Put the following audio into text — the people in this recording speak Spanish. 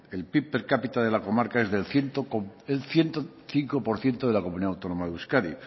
el pib per capita de la comarca es del ciento cinco por ciento de la comunidad autónoma de euskadi